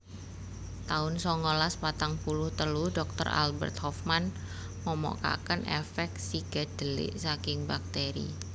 taun songolas patang puluh telu Doktor Albert Hofmann nemokaken èfèk psikedélik saking bakteri